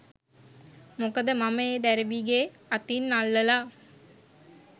මොකද මම ඒ දැරිවිගේ අතින් අල්ලලා